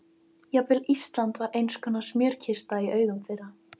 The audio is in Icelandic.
Jafnvel Ísland var einskonar smjörkista í augum þeirra.